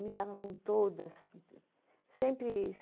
Me dava com todas. Sempre